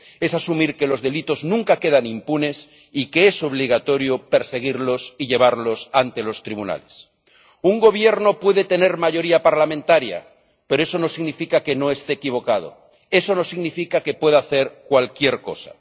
Es asumir que los delitos nunca quedan impunes y que es obligatorio perseguirlos y llevarlos ante los tribunales. Un gobierno puede tener mayoría parlamentaria, pero eso no significa que no esté equivocado, eso no significa que pueda hacer cualquier cosa.